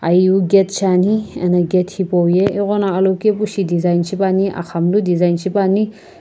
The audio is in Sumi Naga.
aie vii gate shaeni ano hipo gate aghono alokepu design shipa ni aghamlu design sipani.